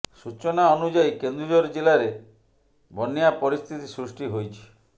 ସୂଚନା ଅନୁଯାୟୀ କେନ୍ଦୁଝର ଜିଲାରେ ବନ୍ୟା ପରିସ୍ଥିତି ସୃଷ୍ଟି ହୋଇଛି